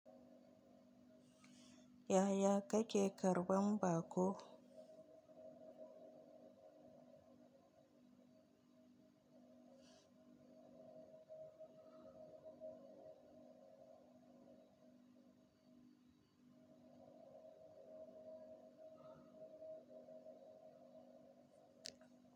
Yaya kake karban baƙo?